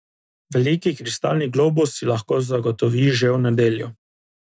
Veliki kristalni globus si lahko zagotovi že v nedeljo.